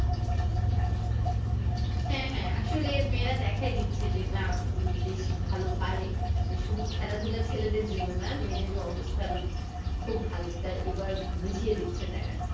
হ্যাঁ হ্যাঁ আসলে মেয়েরা দেখায় দিচ্ছে যে না বেশ ভালো পারে শুধু খেলাধূলা ছেলেদের জন্য না মেয়েদের অবস্থান খুব ভালো এটা এবার বুঝিয়ে দিচ্ছে তারা